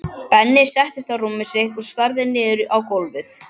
Benni settist á rúmið sitt og starði niður á gólfið.